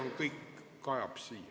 See kõik kajab siia.